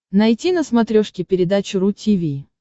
найти на смотрешке передачу ру ти ви